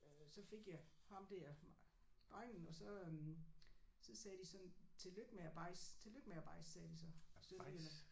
Øh så fik jeg ham der drengen og så øh så sagde de sådan tillykke med bajsen tillykke med bajsen sagde de så i Sønderjylland